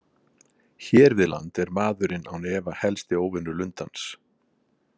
Hér við land er maðurinn án efa helsti óvinur lundans.